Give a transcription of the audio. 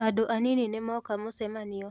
Andũ anini nĩmoka mũcemanio.